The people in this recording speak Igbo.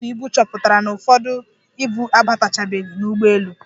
Ndị ọkwọ ibu chọpụtara na ụfọdụ ibu abatachabeghi n'ụgbọelu.